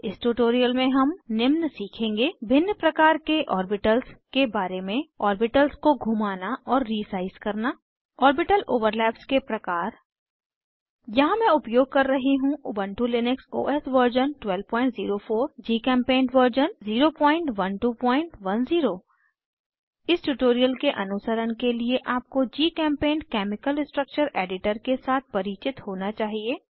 इस ट्यूटोरियल में हम निम्न सीखेंगे भिन्न प्रकार के ऑर्बिटल्स के बारे में ऑर्बिटल्स को घुमाना और रीसाइज़ करना ऑर्बिटल ओवरलैप्स के प्रकार यहाँ मैं उपयोग कर रही हूँ Ubuntu Linux OS version 1204 GChemPaint version 01210 इस ट्यूटोरियल के अनुसरण के लिए आपको जीचेम्पेंट केमिकल स्ट्रक्चर एडिटर के साथ परिचित होना चाहिए